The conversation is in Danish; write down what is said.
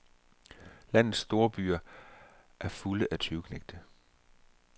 Landets storbyer er fulde af tyveknægte.